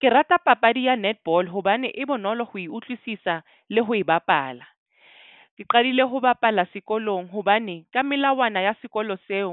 Ke rata papadi ya netball hobane e bonolo ho e utlwisisa le ho e bapala. Ke qadile ho bapala sekolong hobane ka melawana ya sekolo seo,